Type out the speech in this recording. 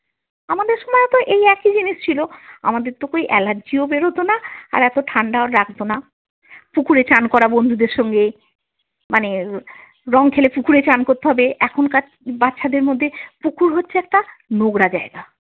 আমাদের সময় এই একই জিনিষ ছিল, আমাদের তো কই অ্যালার্জিও বেরোতো না আর এতো ঠাণ্ডাও লাগত না, পুকুরে চান করা বন্ধুদের সঙ্গে, মানে আহ রঙ খেলে পুকুরে চান করতে হবে, এখনকার বাচ্ছাদের মধ্যে পুকুর হচ্ছে একটা নোংরা জায়গা।